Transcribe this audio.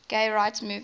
gay rights movement